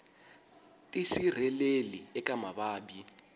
tisirheleli eka mavabyi